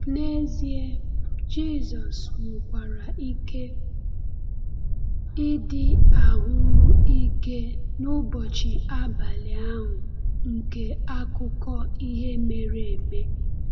N’ezie, Jisọs nwekwara ike ịdị ahụ́rụ ike n’ụbọchị abalị ahụ nke akụkọ ihe mere eme.